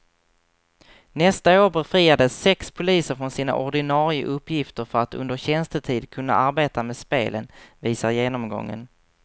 Nästa år befriades sex poliser från sina ordinarie uppgifter för att under tjänstetid kunna arbeta med spelen, visar genomgången.